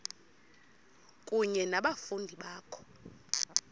kunye nabafundi bakho